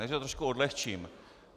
Já to trošku odlehčím.